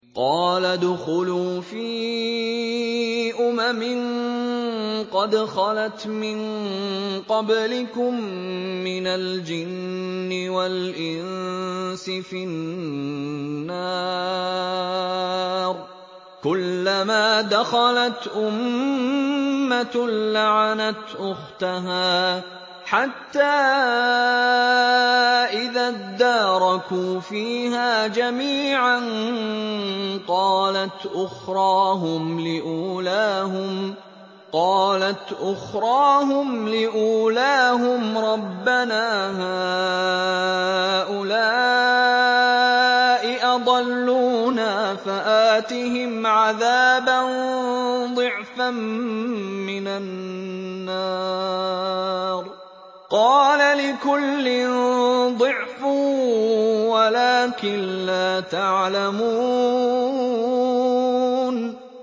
قَالَ ادْخُلُوا فِي أُمَمٍ قَدْ خَلَتْ مِن قَبْلِكُم مِّنَ الْجِنِّ وَالْإِنسِ فِي النَّارِ ۖ كُلَّمَا دَخَلَتْ أُمَّةٌ لَّعَنَتْ أُخْتَهَا ۖ حَتَّىٰ إِذَا ادَّارَكُوا فِيهَا جَمِيعًا قَالَتْ أُخْرَاهُمْ لِأُولَاهُمْ رَبَّنَا هَٰؤُلَاءِ أَضَلُّونَا فَآتِهِمْ عَذَابًا ضِعْفًا مِّنَ النَّارِ ۖ قَالَ لِكُلٍّ ضِعْفٌ وَلَٰكِن لَّا تَعْلَمُونَ